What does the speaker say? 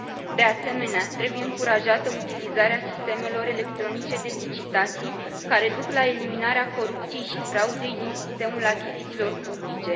De asemenea, trebuie încurajată utilizarea sistemelor electronice de licitații, care duc la eliminarea corupției și fraudei din sistemul achizițiilor publice.